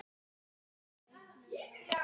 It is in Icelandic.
Hvað gerum við án þín?